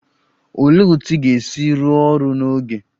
Olee otú ị ga-esi rụọ ọrụ n'oge?